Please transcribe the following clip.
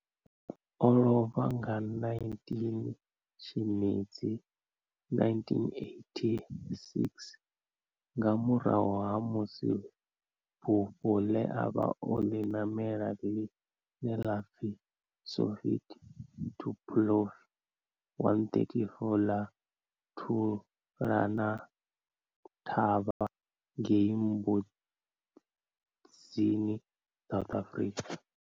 O lovha nga 19 Tshimedzi 1986 nga murahu ha musi bufho le a vha o li namela, line la pfi Soviet Tupolev 134 la thulana thavha ngei Mbuzini South Africa.